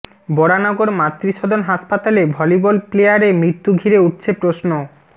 বরানগর মাতৃসদন হাসপাতালে ভলিবল প্লেয়ারে মৃত্যু ঘিরে উঠছে প্রশ্ন